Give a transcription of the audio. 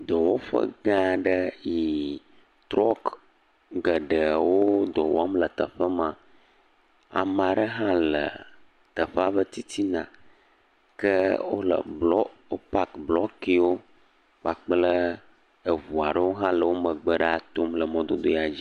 Dɔwɔƒe gãa ɖe yi trɔk geɖe wodɔ wɔm le teƒe ma, ke ama ɖe hã le teƒea ƒe titina ke wole blɔ wopak blɔkewo kpakple eŋua ɖe hã le wo megbe ɖaa tom le mɔdodoea dzi.